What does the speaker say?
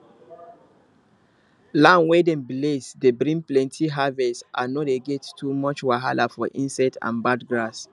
land wey dem bless dey bring plenty harvest and no dey get too much wahala from insects and bad grass